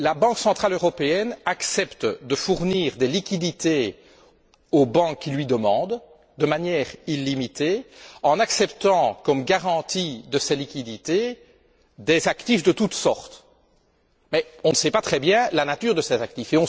La Banque centrale européenne accepte de fournir des liquidités aux banques qui le lui demandent, de manière illimitée, en acceptant comme garantie de ces liquidités des actifs de toutes sortes. Mais on ne connaît pas très bien la nature de ces actifs.